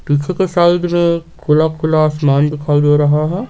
पीछे के साइड में खुला खुला आसमान दिखाई दे रहा है।